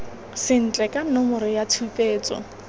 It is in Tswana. sentle ka nomoro ya tshupetso